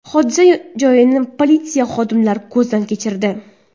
Hodisa joyini politsiya xodimlari ko‘zdan kechirdi.